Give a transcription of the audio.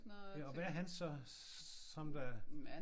Ja og hvad er han så? Som der